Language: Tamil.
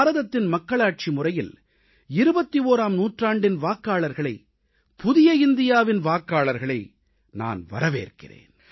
பாரதத்தின் மக்களாட்சி முறையில் 21ஆம் நூற்றாண்டின் வாக்காளர்களை புதிய இந்தியாவின் வாக்காளர்களை நான் வரவேற்கிறேன்